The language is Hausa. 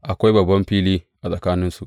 Akwai babban fili tsakaninsu.